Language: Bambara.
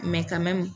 ka mɛn